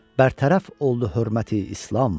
Bərtərəf oldu hörməti İslam.